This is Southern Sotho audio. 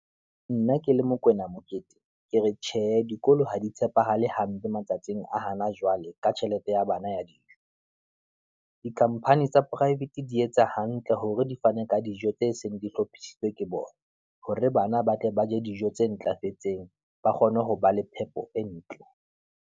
Nna ke le Mokoena Mokete ke re tjhe, dikolo ha di tshepahale hampe matsatsing a hana jwale, ka tjhelete ya bana ya dijo. Di company tsa private di etsa hantle hore di fane ka dijo tse seng di hlophisitswe ke bona, hore bana ba tle ba je dijo tse ntlafetseng, ba kgone ho ba le phepo e ntle.